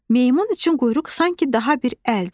Meymun üçün quyruq sanki daha bir əldir.